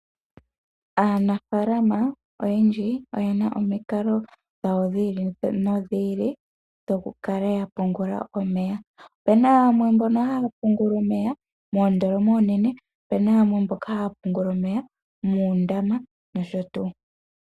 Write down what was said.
Aanafaalama oyendji oyena omikalo dhawo dhiili nodhili dhokukala yapungula omeya. Opuna yamwe mbono haya pungula moondoloma oonene, opuna yamwe haya pungula omeya muundama noshotuu.